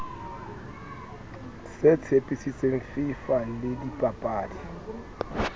se tshepisitseng fifa le dibapadi